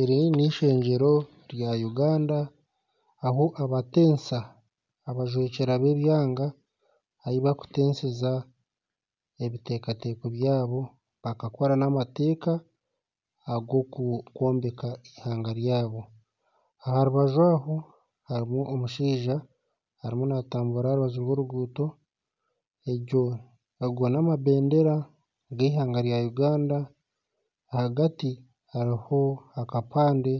Eri n'eishengyero rya Uganda ahu abatensa abajwekyera bebyanga ahu bakutenseza ebiteekateeko byabo bakakora n'amateeka ag'okwombeka eihanga ryabo aha rubaju hariho omushaija arimu naatambura aha rubaju rw'oruguuto ago namabeendera g'eihanga rya Uganda ahagati hariho akapande